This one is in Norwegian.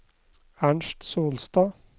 Ernst Solstad